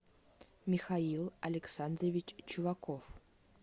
михаил александрович чуваков